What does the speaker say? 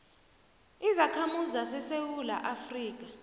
izakhamuzi zesewula afrika